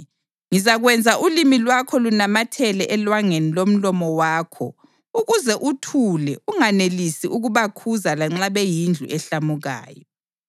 Ngizakwenza ulimi lwakho lunamathele elwangeni lomlomo wakho ukuze uthule unganelisi ukubakhuza lanxa beyindlu ehlamukayo.